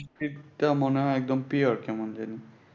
বৃষ্টিটা মনে হয় একদম pure